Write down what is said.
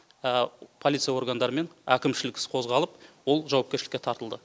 полиция органдарымен әкімшілік іс қозғалып ол жауапкершілікке тартылды